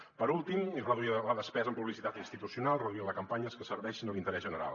per últim reduir la despesa en publicitat institucional i reduir les campanyes que serveixin a l’interès general